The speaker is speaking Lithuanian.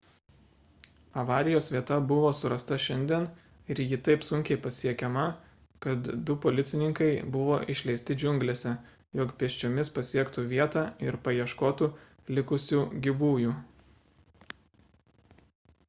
avarijos vieta buvo surasta šiandien ir ji taip sunkiai pasiekiama kad du policininkai buvo išleisti džiunglėse jog pėsčiomis pasiektų vietą ir paieškotų likusių gyvųjų